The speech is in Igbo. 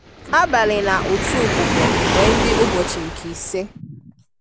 Àbàlí nà ụ̀tù ùbùbò wée ńdí ùbòchí nke ìsè.